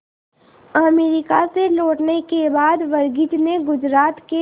America से लौटने के बाद वर्गीज ने गुजरात के